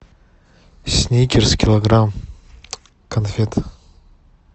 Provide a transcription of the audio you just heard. сникерс килограмм конфет